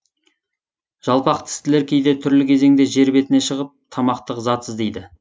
жалпақ тістілер кейде түрлі кезеңде жер бетіне шығып тамақтық зат іздейді